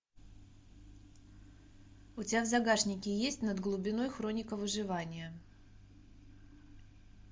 у тебя в загашнике есть над глубиной хроника выживания